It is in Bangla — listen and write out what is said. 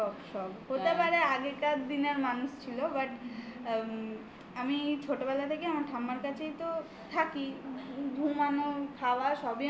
সব সব. হতে পারে আগেকার দিনের মানুষ ছিল. but আমম আমি ছোটবেলা থেকেই আমার ঠাম্মার কাছেই তো থাকি ঘুমানো , খাওয়া সবই